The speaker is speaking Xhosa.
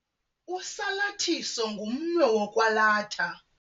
Usalathiso ngumnwe wokwalatha.